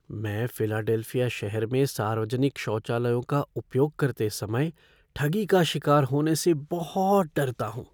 मैं फ़िलाडेल्फिया शहर में सार्वजनिक शौचालयों का उपयोग करते समय ठगी का शिकार होने से बहुत डरता हूँ।